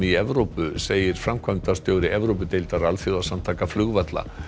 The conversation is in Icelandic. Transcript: í Evrópu segir framkvæmdastjóri Evrópudeildar alþjóðasamtaka flugvalla